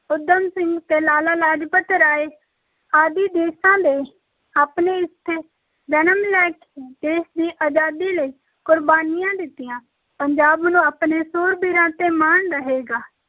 ਊਧਮ ਸਿੰਘ ਤੇ ਲਾਲਾ ਲਾਜਪਤ ਰਾਏ ਆਦਿ ਦੇਸਾਂ ਨੇ ਆਪਣੇ ਇੱਥੇ ਜਨਮ ਲੈ ਕੇ ਦੇਸ਼ ਦੀ ਅਜ਼ਾਦੀ ਲਈ ਕੁਰਬਾਨੀਆਂ ਦਿੱਤੀਆਂ, ਪੰਜਾਬ ਨੂੰ ਆਪਣੇ ਸੂਰਬੀਰਾਂ ‘ਤੇ ਮਾਣ ਰਹੇਗਾ।